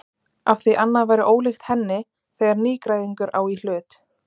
Afþví annað væri ólíkt henni þegar nýgræðingur á í hlut.